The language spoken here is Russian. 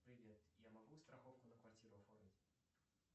привет я могу страховку на квартиру оформить